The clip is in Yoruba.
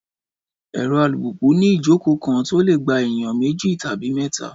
Ẹ̀rọ alùpùpù ni ìjókòó kan tó lè gba ènìyàn méjì tàbí mẹ́ta